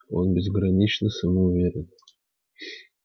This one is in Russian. он безгранично самоуверен